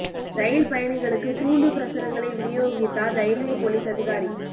ரயில் பயணிகளுக்கு தூண்டு பிரசுரங்களை விநியோகித்தார் ரயில்வே போலீஸ் அதிகாரி